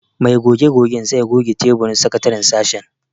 Mai goge-gogen zai goge taburin sakataren sashen.